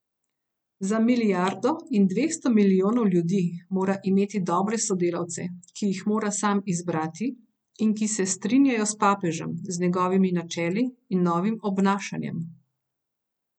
Za milijardo in dvesto milijonov ljudi mora imeti dobre sodelavce, ki jih mora sam izbrati in ki se strinjajo s papežem, z njegovimi načeli in novim obnašanjem.